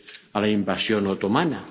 a la invasión otomana.